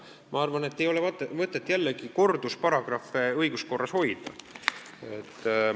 Ma arvan, et ei ole mõtet kordusparagrahve õiguskorras hoida.